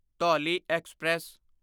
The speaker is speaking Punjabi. ਧੌਲੀ ਐਕਸਪ੍ਰੈਸ